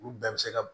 Olu bɛɛ bɛ se ka